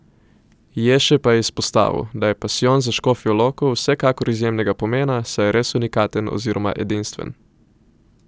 Ješe pa je izpostavil, da je pasijon za Škofjo Loko vsekakor izjemnega pomena, saj je res unikaten oziroma edinstven.